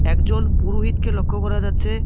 একজন পুরোহিতকে লক্ষ করা যাচ্ছে।